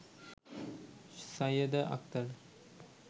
Sayeda Akter